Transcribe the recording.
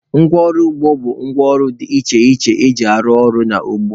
Ngwa ọrụ ugbo bụ ngwa ọrụ dị iche iche eji arụ ọrụ n'ugbo.